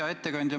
Hea ettekandja!